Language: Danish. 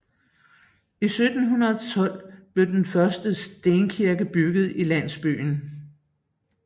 I 1712 blev den første stenkirke bygget i landsbyen